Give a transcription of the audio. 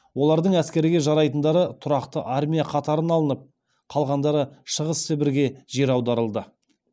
олардың әскерге жарайтындары тұрақты армия қатарына алынып қалғандары шығыс сібірге жер аударылды